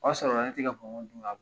O ya sɔrɔ ne ti ka bɔnbɔn dun ka